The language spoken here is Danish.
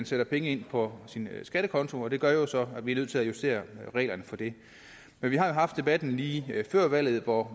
sætte penge ind på sin skattekonto og det gør så at vi er nødt til at justere reglerne for det men vi har jo haft debatten lige før valget hvor